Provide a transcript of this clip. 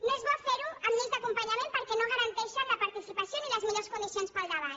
no és bo ferho amb lleis d’acompanyament perquè no garanteixen la participació ni les millors condicions per al debat